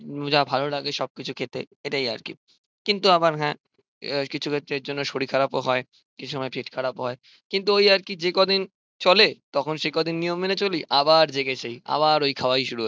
যা ভালো লাগে সব কিছু খেতে এটাই আরকি কিন্তু আবার হ্যাঁ কিছু ক্ষেত্রের জন্য শরীর খারাপ ও হয় কিছু সময় পেট খারাপ হয় কিন্তু ওই আরকি যেকদিন চলে তখন সেকদিন নিয়ম মেনে চলি আবার যেই কে সেই আবার ওই খাওয়াই শুরু হয়।